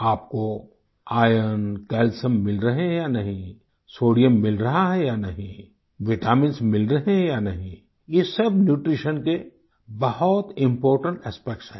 आपको iron calcium मिल रहे हैं या नहीं सोडियम मिल रहा है या नहीं विटामिन्स मिल रहे हैं या नहीं ये सब न्यूट्रीशन के बहुत इम्पोर्टेंट एस्पेक्ट्स हैं